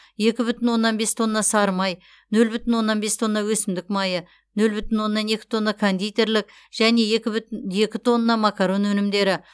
екі бүтін оннан бес тонна сары май нөл бүтін оннан бес тонна өсімдік майы нөл бүтін оннан екі тонна кондитерлік және екі бү екі тонна макарон өнімдері